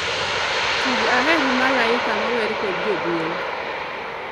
Tug aheri malaika mower kod joduol